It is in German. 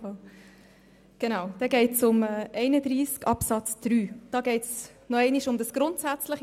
Somit geht es um Artikel 31 Absatz 3 und nochmals um das Wort «grundsätzlich».